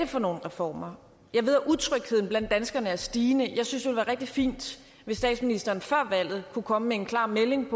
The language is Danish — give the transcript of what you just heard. for nogle reformer jeg ved at utrygheden blandt danskerne er stigende jeg synes det ville være rigtig fint hvis statsministeren før valget kunne komme med en klar melding